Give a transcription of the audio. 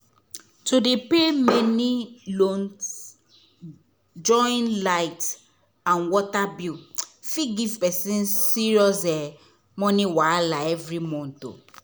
to dey pay many loans join light and water bill fit give person serious um money wahala every month.